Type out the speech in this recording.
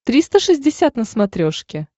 триста шестьдесят на смотрешке